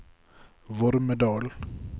Vormedal